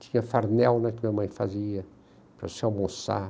Tinha farmel que minha mãe fazia para você almoçar.